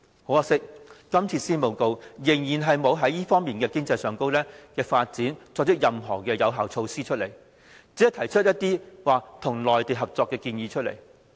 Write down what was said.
可惜的是，這份施政報告依然沒有就這方面的經濟發展，提出任何有效措施，只是提出一些與內地合作的建議。